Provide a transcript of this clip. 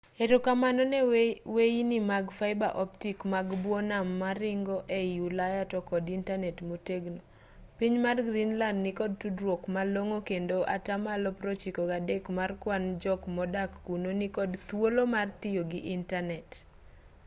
erokamano ne weyini mag fiber optic mag bwo nam moringo ei ulaya to kod intanet motegno piny mar greenlad nikod tudruok malong'o kendo atamalo 93 mar kwan jok modak kuno nikod thuolo mar tiyo gi intanet